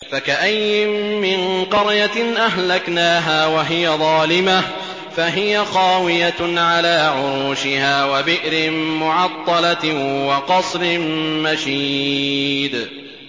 فَكَأَيِّن مِّن قَرْيَةٍ أَهْلَكْنَاهَا وَهِيَ ظَالِمَةٌ فَهِيَ خَاوِيَةٌ عَلَىٰ عُرُوشِهَا وَبِئْرٍ مُّعَطَّلَةٍ وَقَصْرٍ مَّشِيدٍ